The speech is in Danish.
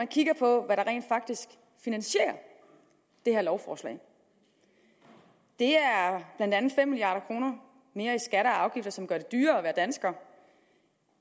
kigger på hvad der rent faktisk finansierer det her lovforslag det er blandt andet fem milliard kroner mere i skatter og afgifter som gør det dyrere at være dansker